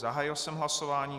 Zahájil jsem hlasování.